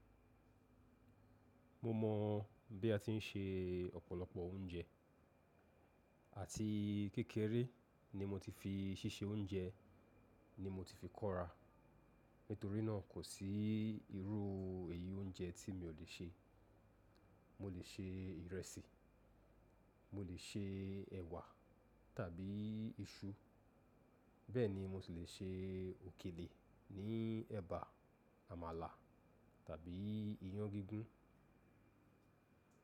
Mo mọ̀ bí a ti ń ṣe ọ̀pọ̀lọpọ̀ oúnjẹ àti kékeré ni mo ti fi ṣíṣe oúnjẹ ni mo ti fi kóra. Nítorí náà kò sí irú èyí oúnjẹ tí mi ò lè ṣe. Mo lè ṣe ìrẹsì, mo lè ṣe ẹ̀wà tàbí iṣu bẹ́ẹ̀ ni mo sì lè ṣe òkèlè ní ẹ̀bà, àmàlà tàbí iyán gígún.